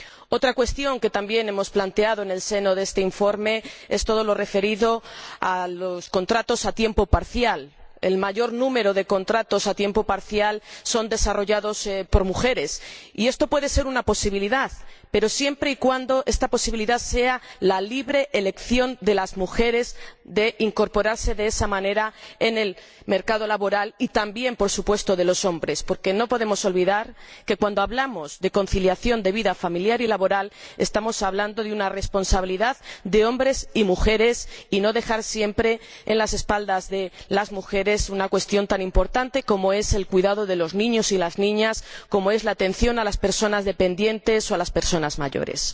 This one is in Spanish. Otra cuestión que también hemos planteado en el seno de este informe es todo lo referido a los contratos a tiempo parcial. El mayor número de contratos a tiempo parcial son desarrollados por mujeres, y esto puede ser una posibilidad, pero siempre y cuando esta posibilidad sea la libre elección de las mujeres de incorporarse de esa manera al mercado laboral y también, por supuesto, de los hombres, porque no podemos olvidar que, cuando hablamos de conciliación de vida familiar y laboral, estamos hablando de una responsabilidad de hombres y mujeres, y no podemos dejar siempre en las espaldas de las mujeres una cuestión tan importante como es el cuidado de los niños y las niñas, como es la atención a las personas dependientes o a las personas mayores.